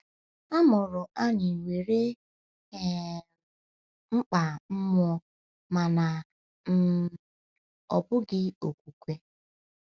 A mụrụ anyị nwere um mkpa mmụọ mana ọ um bụghị okwukwe.